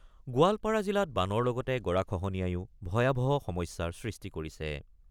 গোৱালপাৰা জিলাত বানৰ লগতে গৰাখহনীয়াইও ভয়াৱহ সমস্যাৰ সৃষ্টি কৰিছে।